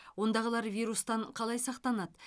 ондағылар вирустан қалай сақтанады